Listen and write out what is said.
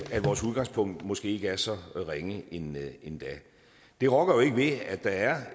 at vores udgangspunkt måske ikke er så ringe endda det rokker ikke ved at der er